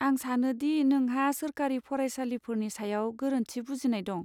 आं सानो दि नोंहा सोरखारि फरायसालिफोरनि सायाव गोरोन्थि बुजिनाय दं।